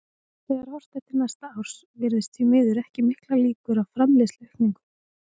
Þegar horft er til næsta árs virðast því miður ekki miklar líkur á framleiðsluaukningu.